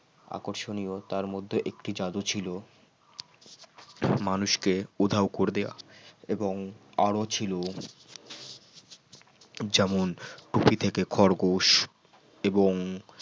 আকর্ষণীয় তার মধ্যে একটি জাদু ছিল মানুষকে উধাও করে দেওয়া এবং আরো ছিল যেমন টুপি থেকে খরগোশ এবং